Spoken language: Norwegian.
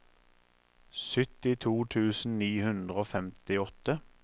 syttito tusen ni hundre og femtiåtte